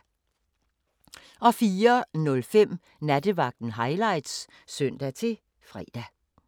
04:05: Nattevagten Highlights (søn-fre)